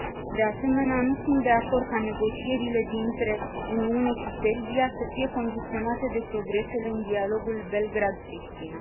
De asemenea, nu sunt de acord ca negocierile dintre Uniune și Serbia să fie condiționate de progresele în dialogul Belgrad Priština.